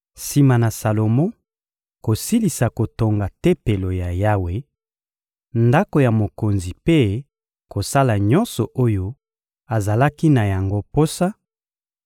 Sima na Salomo kosilisa kotonga Tempelo ya Yawe, ndako ya mokonzi mpe kosala nyonso oyo azalaki na yango posa,